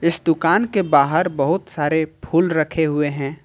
इस दुकान के बाहर बहुत सारे फूल रखे हुए हैं।